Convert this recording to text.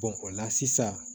o la sisan